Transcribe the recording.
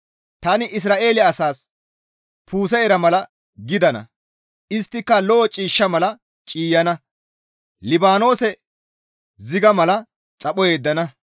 Tani Isra7eele asaas puuse ira mala gidana; isttika lo7o ciishsha mala ciiyana; Libaanoose ziga mala xapho yeddana.